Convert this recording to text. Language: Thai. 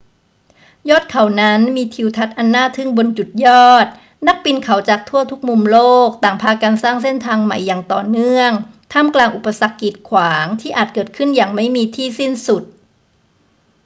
ยอดเขานั้นมีทิวทัศน์อันน่าทึ่งบนจุดยอด นักปีนเขาจากทั่วทุกมุมโลกต่างพากันสร้างเส้นทางใหม่อย่างต่อเนื่องท่ามกลางอุปสรรคกีดขวางที่อาจเกิดขึ้นอย่างไม่มีที่สิ้นสุด